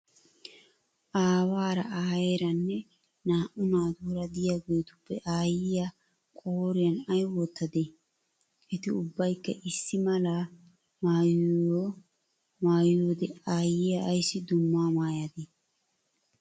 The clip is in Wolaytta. Aawaara, aayeeranne naa"u naatuura diyageetuppe aayyiyaa qooriyan ayi wotyadee? Eti ubbayikka issi mala aiyiaao auupiya maayyiyoode aayiyaa ayissi dumma maayyadee?